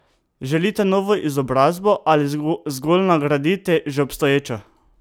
Želite novo izobrazbo ali zgolj nadgraditi že obstoječo?